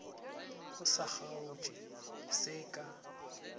o sa kgaotše se ka